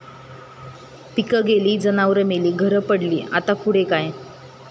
पिकं गेली, जनावरं मेली, घरं पडली..,आता पुढं काय?